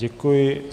Děkuji.